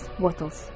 Wallace Wattles.